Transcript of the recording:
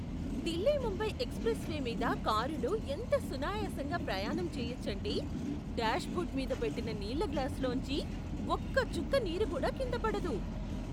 Delhi Mumbai expressway మీద కారులో ఎంత సునాయాసంగా ప్రయాణం చేయొచ్చంటే, డాష్బో ర్డు మీద పెట్టిన నీళ్ళ గ్లాసులోంచి ఒక్క చుక్క నీరు కూడా కింద పడదు.